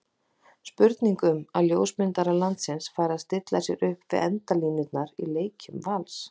Spurning um að ljósmyndarar landsins fari að stilla sér upp við endalínurnar í leikjum Vals?